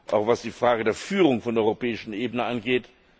auch was die Frage der Führung auf der europäischen Ebene angeht.